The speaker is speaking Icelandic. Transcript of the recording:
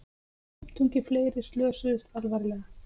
Fimmtungi fleiri slösuðust alvarlega